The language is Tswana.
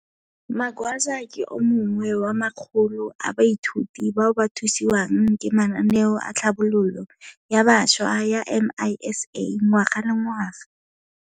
Magwaza ke o mongwe wa makgolo a baithuti bao ba thusiwang ke mananeo a tlhabololo ya bašwa ya MISA ngwaga le ngwaga.